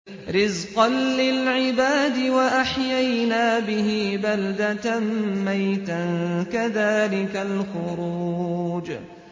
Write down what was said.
رِّزْقًا لِّلْعِبَادِ ۖ وَأَحْيَيْنَا بِهِ بَلْدَةً مَّيْتًا ۚ كَذَٰلِكَ الْخُرُوجُ